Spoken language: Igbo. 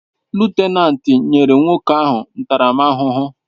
Lutenanti n'enye nwokoahu ntaram ahuhu